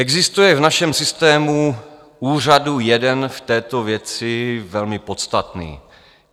Existuje v našem systému úřadů jeden v této věci velmi podstatný.